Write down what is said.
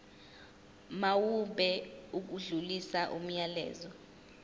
mawube odlulisa umyalezo